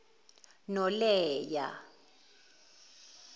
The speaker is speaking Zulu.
noleya